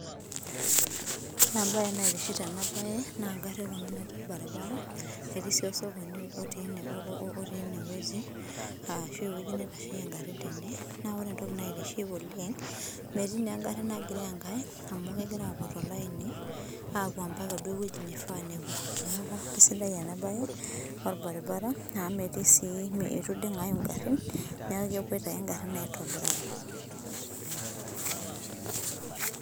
Ore ebae naitiship tenabae, na garrin kuna natii orbaribara, etii si osokoni otii enewueji, ashu ewueji nitasheyie garrin tene. Na ore entoki naitiship oleng, metii negarri nagiroo enkae, amu kegira apuo tolaini, apuo mpaka duo ewueji nifaa nepuo. Neeku kesidai enabae, orbaribara amu metii si eitu ding'ayu garrin, neeku kepoito ake garrin aitobiraki.